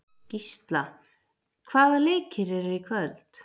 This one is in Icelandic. Gísla, hvaða leikir eru í kvöld?